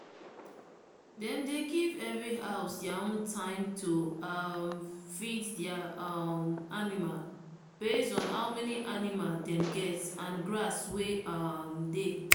dem give every house their own time to um feed their um animal based on how many animal dem get and grass wey um dey.